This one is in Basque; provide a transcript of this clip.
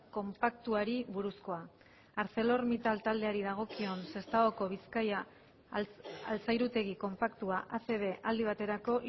konpaktuari buruzkoa arcelor mittal taldeari dagokion sestaoko bizkaia altzairutegi konpaktua acb aldi baterako